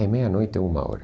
É meia-noite, uma hora.